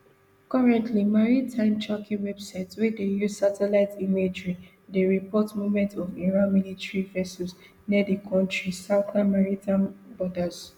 currently maritime tracking websites wey dey use satellite imagery dey report movements of iran military vessels near di kontri southern maritime borders